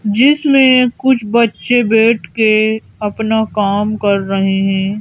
जिसमें कुछ बच्चे बैठ के अपना काम कर रहे हैं।